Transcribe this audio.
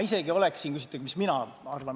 Küsisite, mis mina arvan.